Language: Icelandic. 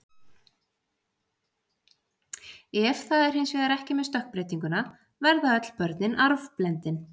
Ef það er hins vegar ekki með stökkbreytinguna verða öll börnin arfblendin.